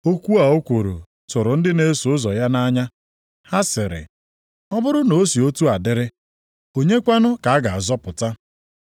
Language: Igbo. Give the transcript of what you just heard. Okwu a o kwuru tụrụ ndị na-eso ụzọ ya nʼanya. Ha sịrị, “Ọ bụrụ na o si otu a dịrị, onye kwanụ ka a ga-azọpụta?”